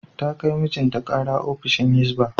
Ta kai mijinta kara ofishin Hizba.